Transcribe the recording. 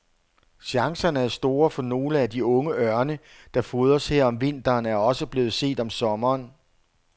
Chancerne er store, for nogle af de unge ørne, der fodres her om vinteren, er også blevet set om sommeren.